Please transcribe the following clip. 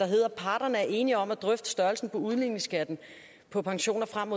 hedder at parterne er enige om at drøfte størrelsen på udligningsskatten på pensioner frem